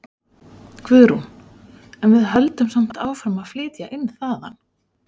Guðrún: En við höldum samt áfram að flytja inn þaðan?